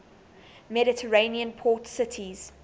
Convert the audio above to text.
mediterranean port cities